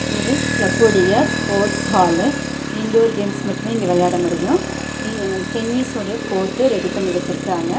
இது கிளப்புடைய sports hall indoor games மட்டுமே இங்க வெளயாட முடியும் இ டென்னிஸ் உடைய கோர்ட்ட ரெடி பண்ணி வெச்சிருக்காங்க.